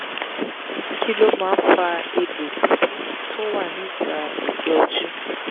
kí ló máa ń fa egbo bibo tó wa ní ita egbe ojú?